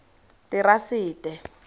terasete